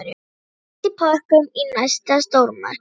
Fæst í pökkum í næsta stórmarkaði.